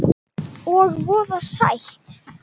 Og voða sætt.